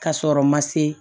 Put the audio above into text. Ka sɔrɔ ma se